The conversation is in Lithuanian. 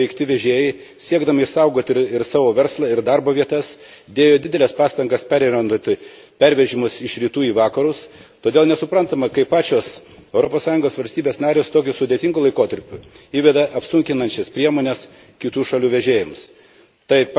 Šio apribojimo paveikti vežėjai, siekdami išsaugoti savo verslą ir darbo vietas, dėjo dideles pastangas perorientuoti pervežimus iš rytų į vakarus, todėl nesuprantama, kaip pačios Europos Sąjungos valstybės narės tokiu sudėtingu laikotarpiu įveda apsunkinančias priemonės kitų šalių vežėjams.